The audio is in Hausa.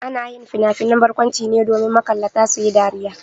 Ana yin finafinan barkwanci ne domin makallata su yi dariya.